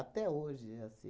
hoje é assim.